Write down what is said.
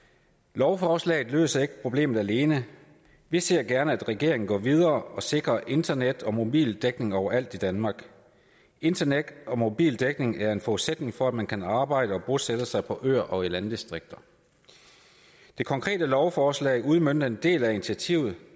lovforslaget løser ikke problemet alene vi ser gerne at regeringen går videre og sikrer internet og mobildækning overalt i danmark internet og mobildækning er en forudsætning for at man kan arbejde og bosætte sig på øer og i landdistrikter det konkrete lovforslag udmønter en del af initiativet